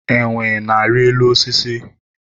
enwe na-ari elu osisi